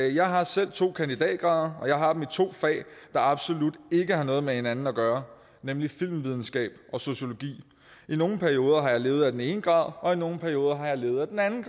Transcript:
jeg har selv to kandidatgrader og jeg har dem i to fag der absolut ikke har noget med hinanden at gøre nemlig filmvidenskab og sociologi i nogle perioder har jeg levet af den ene grad og i nogle perioder har jeg levet af den anden